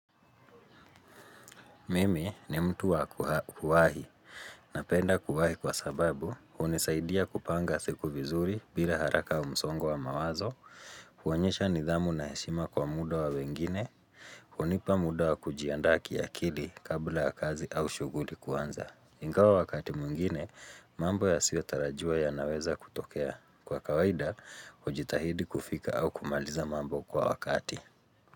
Mimi ni mtu wa kuwahi napenda kuwahi kwa sababu, hunisaidia kupanga siku vizuri bila haraka na msongo wa mawazo, kuonyesha nidhamu na heshima kwa muda wa wengine, hunipa muda wa kujiandaa kia akili kabla ya kazi au shuguli kuanza. Ingawa wakati mwingine, mambo yasiyo tarajiwa yanaweza kutokea. Kwa kawaida, hujitahidi kufika au kumaliza mambo kwa wakati.